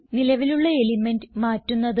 നിലവിലുള്ള എലിമെന്റ് മാറ്റുന്നത്